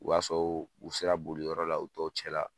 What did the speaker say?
O b'a sɔrɔ u sera boliyɔrɔ la u tɔw cɛ la